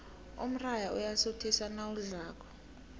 umrayha uyasuthisa nawudlako